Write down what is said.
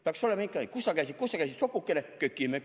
Peaks olema ikkagi: "Kus sa käisid, kus sa käisid, sokukene?